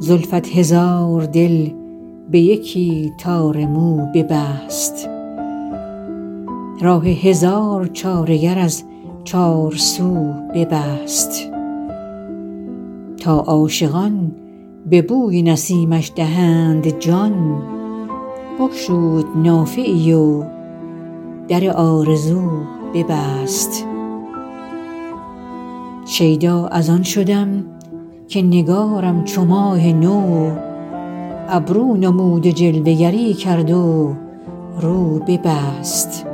زلفت هزار دل به یکی تار مو ببست راه هزار چاره گر از چارسو ببست تا عاشقان به بوی نسیمش دهند جان بگشود نافه ای و در آرزو ببست شیدا از آن شدم که نگارم چو ماه نو ابرو نمود و جلوه گری کرد و رو ببست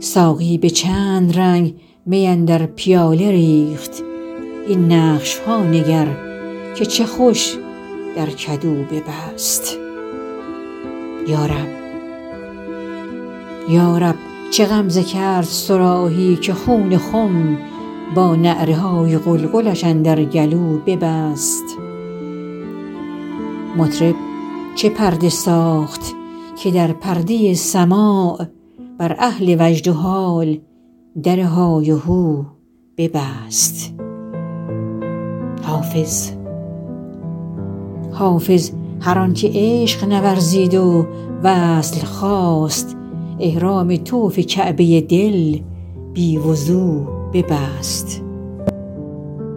ساقی به چند رنگ می اندر پیاله ریخت این نقش ها نگر که چه خوش در کدو ببست یا رب چه غمزه کرد صراحی که خون خم با نعره های قلقلش اندر گلو ببست مطرب چه پرده ساخت که در پرده سماع بر اهل وجد و حال در های وهو ببست حافظ هر آن که عشق نورزید و وصل خواست احرام طوف کعبه دل بی وضو ببست